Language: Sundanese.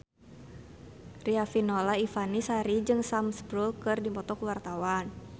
Riafinola Ifani Sari jeung Sam Spruell keur dipoto ku wartawan